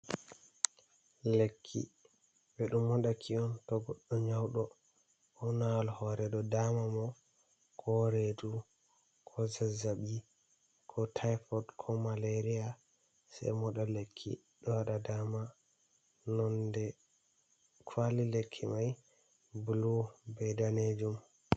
"Lekki" ɓe ɗo modaki on to goɗɗo nyauɗo ko nawal ko redu damata mo ko redu ko zazabi ko tipod ko maleriya sei moɗal lekki ɗo wada dama nonɗe kwali lekki mai bulu bei danejum.